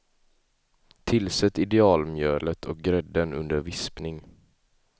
Tillsätt idealmjölet och grädden under vispning.